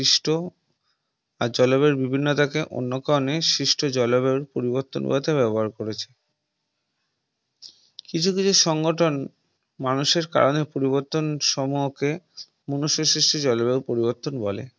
আর জলবায়ু বিভিন্নতা কে অন্য কারণে সৃষ্ট জলবায়ুর পরিবর্তন হওয়া তে ব্যাবহার করেছে কিছু কিছু সংঘঠন মানুষের কারণে পরিবর্তন সমূহকে মানুষের সৃষ্ট জলবায়ু পরিবর্তন বলে